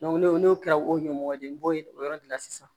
n'o n'o kɛra o ɲɔ de n'o ye o yɔrɔ de la sisan